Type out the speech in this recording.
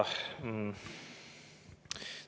Aitäh!